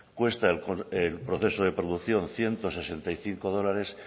cuesta el proceso de producción ciento sesenta y cinco dólares